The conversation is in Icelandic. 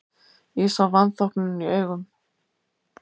Ég sá vanþóknunina í augum